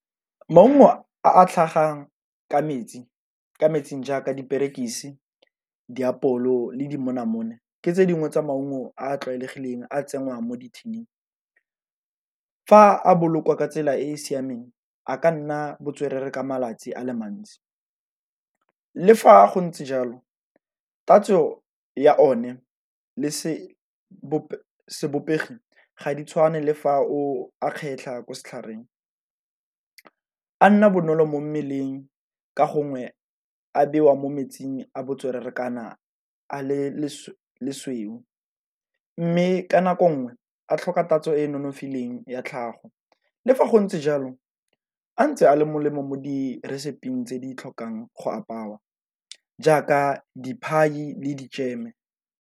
Maungo a tlhagang ka metsing jaaka diperekisi, diapole go le dimonamone ke tse dingwe tsa maungo a a tlwaelegileng a tsenngwang mo di-tin-ing. Fa a bolokwa ka tsela e e siameng a ka nna botswerere ka malatsi a le mantsi. Le fa go ntse jalo tatso ya one le sebopego ga di tshwane le fa o a kgetlha ko setlhareng, a nna bonolo mo mmeleng ka gongwe a bewa mo metsing a botswerere kana a le lesweu. Mme ka nako nngwe a tlhoka tatso e e nonofileng ya tlhago, le fa go ntse jalo a ntse a le molemo mo di reseping tse di tlhokang go aparwa jaaka di-pie le di-jam-e.